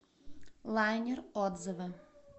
лайнер отзывы